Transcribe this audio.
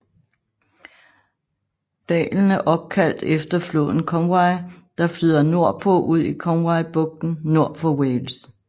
Dalen er opkaldt efter floden Conwy der flyder nordpå ud i Conwy bugten nord for Wales